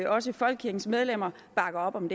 også folkekirkens medlemmer bakker op om